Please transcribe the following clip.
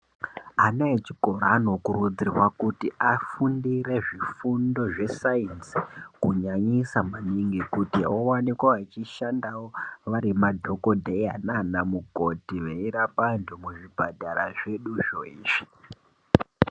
Ana echikoro anokurudzirwa kuti afundire zvifundo zvesaidzi kunyanyisa maningi kuti owanikwa achishandawo vari madhogodheya nanamukoti veyirapa vandu muzvipatara zvedu zvoizvi.